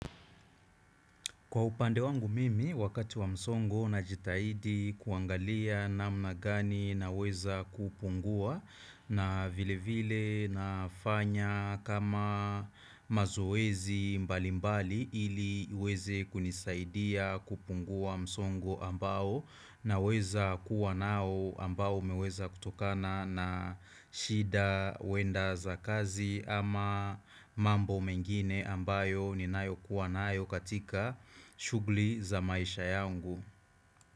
Kwa upande wangu mimi wakati wa msongo na jitahidi kuangalia namna gani naweza kupungua, na vile vile nafanya kama mazoezi mbali mbali, ili hiweze kunisaidia kupungua msongo ambao naweza kuwa nao ambao humeweza kutokana na. Shida wenda za kazi ama mambo mengine ambayo ni nayo kuwa nayo katika shugli za maisha yangu.